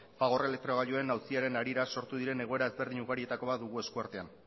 fagor elektrogailuen auziaren harira sortu diren egoera ezberdin ugarietako bat dugu esku artean